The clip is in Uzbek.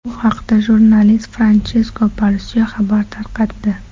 Bu haqda jurnalist Franchesko Porsio xabar tarqatdi .